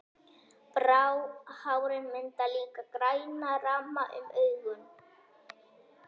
Bráhárin mynda líka græna ramma um augun.